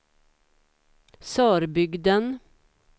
Sörbygden